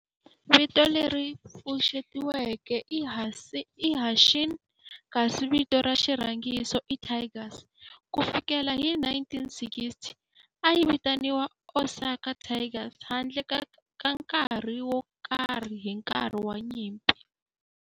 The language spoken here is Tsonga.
Vito leri pfuxetiweke i"Hanshin" kasi vito ra xirhangiso i"Tigers". Ku fikela hi 1960, a yi vitaniwa Osaka Tigers handle ka nkarhi wo karhi hi nkarhi wa nyimpi.